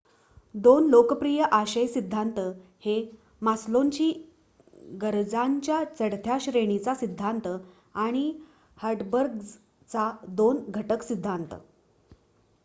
2 लोकप्रिय आशय सिद्धांत हे मास्लोंची गरजांच्या चढत्या श्रेणीचा सिद्धांत आणि हर्ट्झबर्गचा 2 घटक सिद्धांत